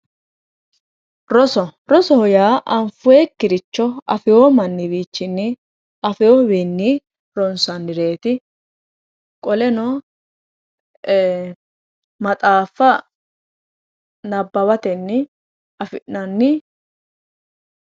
Roso, rosoho yaa anfonnikkiricho affino manniwichinni ronsannireti qoleno maxaafa nabbawatenni affi'nanni.